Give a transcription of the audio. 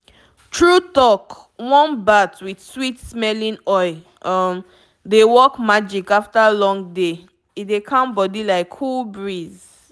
true talk warm bath with sweet-smelling oil um dey work magic after long day—e dey calm body like cool breeze.